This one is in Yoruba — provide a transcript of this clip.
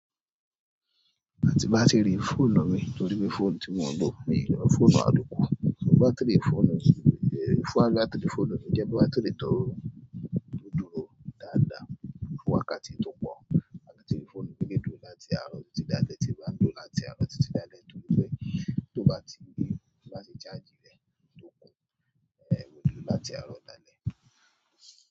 Tí n bá ti rí fóònù mi torí pé fóònù tí mo ń lò, mi ǹ lo fóònù àlòkù bátàrì fóònù ìbò, fúàgà tí fóònù mi jẹ́ pé bátìrì tó dúró dáadáa fún wákàtí tó pọ. Bátírì fóònù mi lè dúró láti àárọ̀ títí dalẹ́ ti n bá n lò ó láti àárọ̀ dalẹ́ torí pé tó bá ti lè tí n bá ti charge rẹ̀ tó full, máa lò ó láti àárọ̀ dalẹ́.